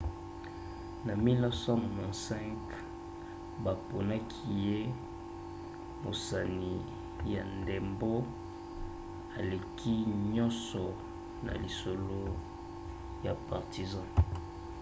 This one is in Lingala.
na 1995 baponaki ye mosani ya ndembo aleki nyonso na lisolo ya partizan